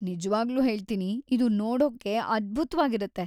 ನಿಜ್ವಾಗ್ಲೂ ಹೇಳ್ತೀನಿ ಇದು ನೋಡೋಕ್ಕೆ ಅದ್ಭುತ್ವಾಗಿರತ್ತೆ.